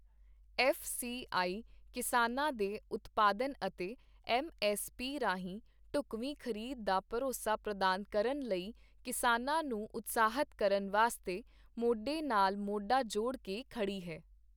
F C I ਕਿਸਾਨਾਂ ਦੇ ਉਤਪਾਦਨ ਅਤੇ ਐੱਮ ਐੱਸ ਪੀ ਰਾਹੀਂ ਢੁੱਕਵੀਂ ਖ਼ਰੀਦ ਦਾ ਭਰੋਸਾ ਪ੍ਰਦਾਨ ਕਰਨ ਲਈ ਕਿਸਾਨਾਂ ਨੂੰ ਉਤਸ਼ਾਹਤ ਕਰਨ ਵਾਸਤੇ ਮੋਢੇ ਨਾਲ ਮੋਢਾ ਜੋੜ ਕੇ ਖੜੀ ਹੈ